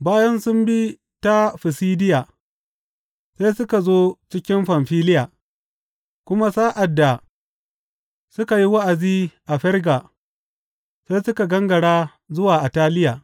Bayan sun bi ta Fisidiya, sai suka zo cikin Famfiliya, kuma sa’ad da suka yi wa’azi a Ferga, sai suka gangara zuwa Attaliya.